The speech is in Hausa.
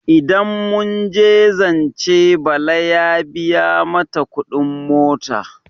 Idan muje zance Bala ya biya mata kudin mota.